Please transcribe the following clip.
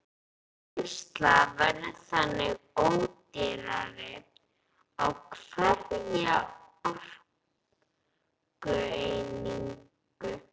Vinnsla verður þannig ódýrari á hverja orkueiningu.